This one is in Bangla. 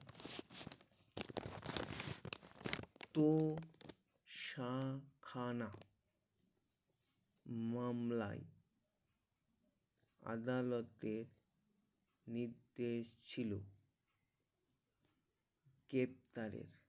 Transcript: তো সাখানা মামলায় আদালতে নির্দেশ ছিল কেপ্টারের